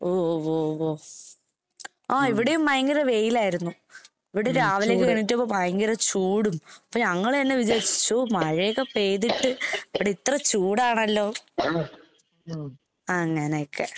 ഓ വോ വോ. ആഹ് ഇവടേം ഭയങ്കര വെയിലായിരുന്നു. ഇവടെ രാവിലയൊക്കെ എഴുന്നേറ്റപ്പം ഭയങ്കര ചൂടും അപ്പൊ ഞങ്ങള് തന്നെ വിചാരിച്ചു ശ്ശൊ മഴയൊക്കെ പെയ്‌തിട്ട് ഇവടെ ഇത്ര ചൂടാണല്ലോ? അങ്ങനെയൊക്കെ.